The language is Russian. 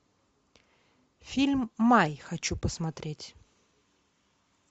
фильм май хочу посмотреть